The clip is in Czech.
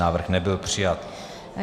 Návrh nebyl přijat.